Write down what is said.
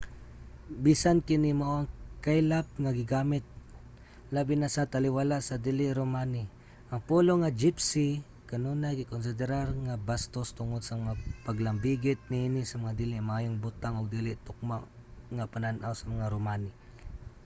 bisan kini mao ang kaylap nga gigamit labi na sa taliwala sa dili romani ang pulong nga gypsy kanunay gikonsiderar nga bastos tungod sa mga paglambigit niini sa mga dili maayong butang ug dili tukma nga panan-aw sa mga romani